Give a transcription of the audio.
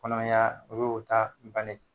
Kɔnɔmaya o y'o' ta bannen.